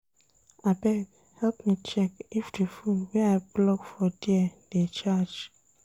Abeg, help me check if di fone wey I plug for there dey charge.